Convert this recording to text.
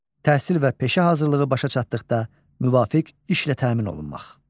Təhsil və peşə hazırlığı başa çatdıqda müvafiq işlə təmin olunmaq.